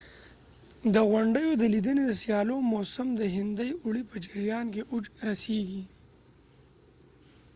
د غونډیو د لیدنې د سیلانیانو موسم د هندي اوړي په جریان کې اوج رسیږي